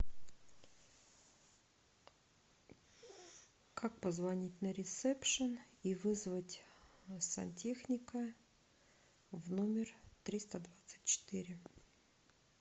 как позвонить на ресепшн и вызвать сантехника в номер триста двадцать четыре